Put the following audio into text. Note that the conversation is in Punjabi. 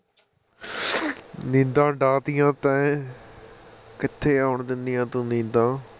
ਨੀਂਦਾਂ ਉਡਾ ਤੀਆਂ ਤੂਹੇ ਕਿੱਥੇ ਆਉਣ ਦਿੰਦੀ ਆ ਤੂੰ ਨੀਂਦਾਂ